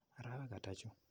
Arawek ata chu?